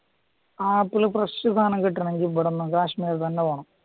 ആ fresh സ്‌ഥാനം കിട്ടണവെങ്കില് ഇവിടുന്ന് കാശ്മീര് തന്നെ പോകണം